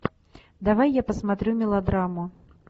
давай я посмотрю мелодраму